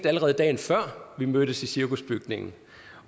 allerede dagen før vi mødtes i cirkusbygningen